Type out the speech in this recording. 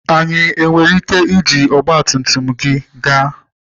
Anyị nwere ike iji ọgba tum tum gị gaa?